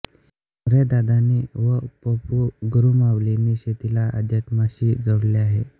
मोरे दादांनी व प पु गुरुमाऊलींनी शेतीला अध्यात्माशी जोडले आहे